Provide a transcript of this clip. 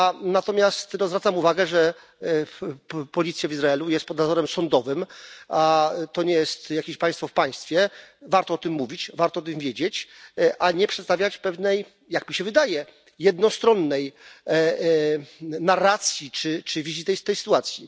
Natomiast zwracam uwagę, że policja w Izraelu jest pod nadzorem sądowym, to nie jest jakieś państwo w państwie. Warto o tym mówić, warto o tym wiedzieć, a nie przedstawiać pewnej jak mi się wydaje jednostronnej narracji czy wizji tej sytuacji.